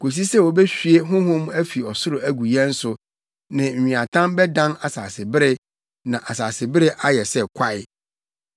kosi sɛ wobehwie honhom afi ɔsoro agu yɛn so, na nweatam bɛdan asasebere na asasebere ayɛ sɛ kwae.